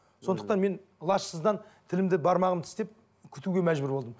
сондықтан мен лажсыздан тілімді бармағымды тістеп күтуге мәжбүр болдым